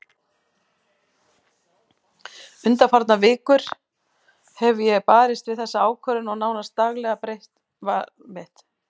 Undanfarnar vikur hef ég barist við þessa ákvörðun og nánast daglega breytist val mitt.